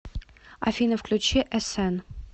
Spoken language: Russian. афина включи э сэн